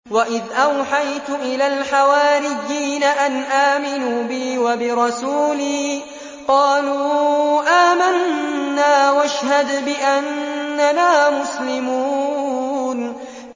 وَإِذْ أَوْحَيْتُ إِلَى الْحَوَارِيِّينَ أَنْ آمِنُوا بِي وَبِرَسُولِي قَالُوا آمَنَّا وَاشْهَدْ بِأَنَّنَا مُسْلِمُونَ